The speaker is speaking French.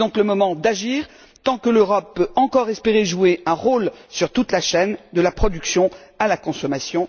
C'est donc le moment d'agir, tant que l'Europe peut encore espérer jouer un rôle sur toute la chaîne, de la production à la consommation.